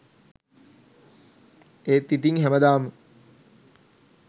ඒත් ඉතිං හැමදාම